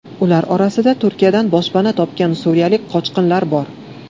Ular orasida Turkiyadan boshpana topgan suriyalik qochqinlar bor.